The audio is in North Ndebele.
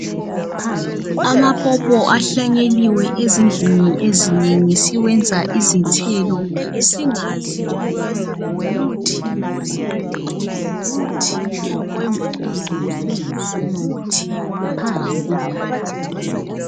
Amapopo ahlanyeliwe ezindlini ezinengi siwenza izithelo zingazi ukubana ngumuthi wesibeletho ngumuthi wevukuzane njalo ngumuthi wamathambo ukubana aqine.